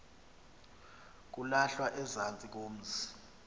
kulahlwa ezantsi komzi